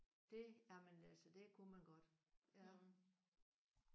Det jamen altså det kunne man godt